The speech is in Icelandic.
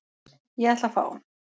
Ég ætla að fá.